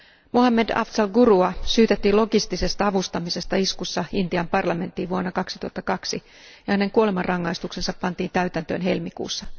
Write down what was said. Mohammad Afzal Gurua syytettiin logistisesta avustamisesta iskussa Intian parlamenttiin vuonna 2002 ja hänen kuolemanrangaistuksensa pantiin täytäntöön helmikuussa.